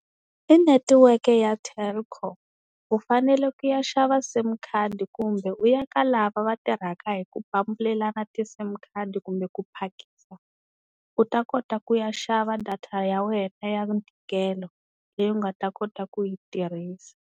I netiweke ya Telkom u fanele ku ya xava sim card kumbe u ya ka lava va tirhaka hi ku pambulelana ti-sim card kumbe ku phakisa u ta kota ku ya xava data ya wena ya ntikelo leyi u nga ta kota ku yi tirhisa.